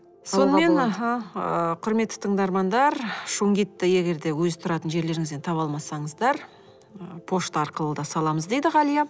сонымен аха ы құрметті тыңдармандар шунгитті егер де өз тұратын жерлеріңізден таба алмасаңыздар пошта арқылы да саламыз дейді ғалия